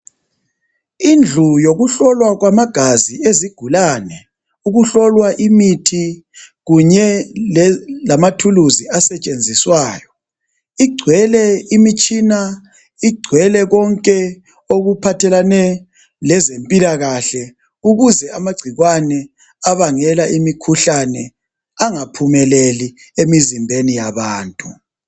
Indlu yokuhlola kwamagazi ezigulane, ukuhlola imithi kanye lamathuluzi asetshenziswayo igcwele imitshina, ingcwele konke okuphathelane lezempilakahle ukuze amagcikwane abangela imikhuhlane angaphumeleli emizimbeni yabantu.